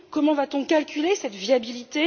Comment va t on calculer cette viabilité?